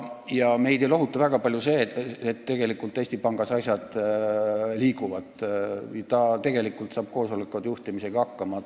Ja meid ei lohuta väga palju see, et Eesti Pangas asjad liiguvad ja ta tegelikult saab koosolekute juhtimisega hakkama.